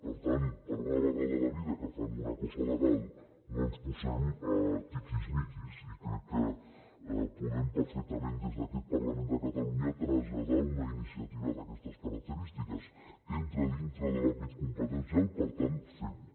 per tant per una vegada a la vida que fan una cosa legal no ens posem tiquismiquis i crec que podem perfectament des d’aquest parlament de catalunya traslladar una iniciativa d’aquestes característiques entra dintre de l’àmbit competencial per tant fem ho